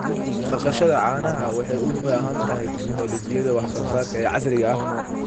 Dhaqashada caanaha waxay u baahan tahay tignoolajiyada wax soo saarka ee casriga ah.